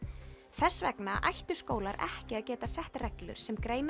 þess vegna ættu skólar ekki að geta sett reglur sem greina